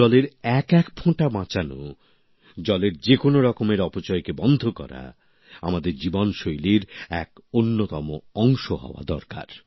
জলের এক এক ফোঁটা বাঁচানো জলের যে কোনো রকমের অপচয়কে বন্ধ করা আমাদের জীবন শৈলীর এক অন্যতম অংশ হওয়া দরকার